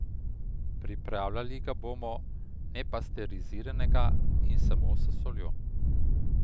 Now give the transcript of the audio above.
Pripravljali ga bomo nepasteriziranega in samo s soljo.